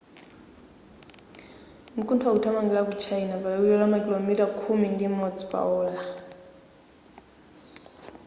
mkuntho ukuthamangira ku china pa liwiro la makilomita khumi ndi imodzi pa ola